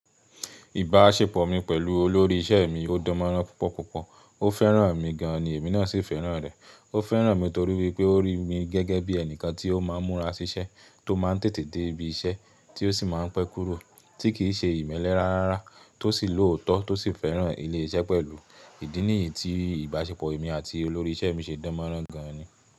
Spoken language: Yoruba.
Ìbáṣepọ̀ mi pẹ̀lú olórí iṣẹ́ mi ó dánmọ́nrán púpọ̀púpọ̀. Ó fẹ́ràn mi gan an ni èmi náà sì fẹ́ràn rẹ̀. Ó fẹ́ràn mi torí wípé ó rí mi gẹ́gẹ́ bí ẹnìkan tí ó máa ń múra ṣiṣẹ́, tó máa ń tètè dé ibi iṣẹ́, tí ó sì máa ń pẹ́ kúrò, tí kìí ṣe ìmẹ́lẹ́ rárára, tó sì lóòótọ́, tó sì fẹ́ràn ilé iṣẹ́ pẹ̀lú. Ìdí nìyí tí ìbáṣepọ̀ èmi àti olórí iṣẹ́ mi ṣe dánmọ́nrán gan an ni.